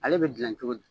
Ale bɛ dilan cogo di